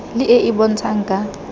le e e bontshang ka